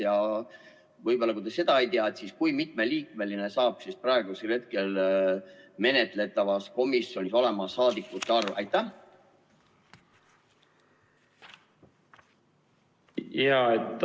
Ja võib-olla, kui te seda ei tea, siis kui mitme liikmeline saab praeguse eelnõu kohaselt see komisjon olema?